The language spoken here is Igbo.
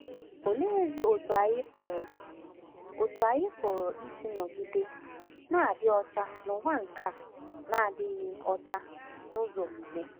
Oleezi otú anyị pụrụ otú anyị pụrụ isi nọgide na-adị ọcha n’ụwa nke na-adịghị ọcha n’ụzọ omume?